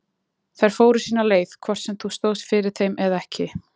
Þær fóru sína leið hvort sem þú stóðst fyrir þeim eða ekki